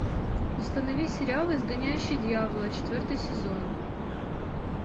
установи сериал изгоняющий дьявола четвертый сезон